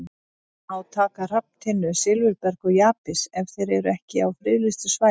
Má taka hrafntinnu, silfurberg og jaspis ef þeir eru ekki á friðlýstu svæði?